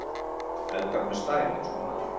Eldar með stæl- eins og maður!